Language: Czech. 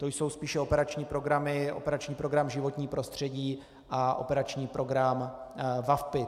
To jsou spíše operační programy - operační program Životní prostředí a operační program VaVpI.